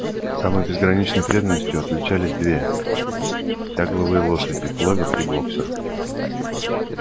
самой безграничной преданностью отличались две тягловые лошади кловер и блоксер